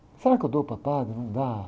Será que eu dou o papado? Num dá.